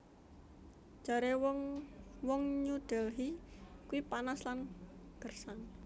Jare wong wong New Delhi kui panas lan gersang